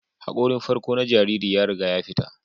Hakorin farko na jariri ya riga ya fita